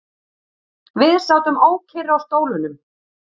Við sátum ókyrr á stólunum.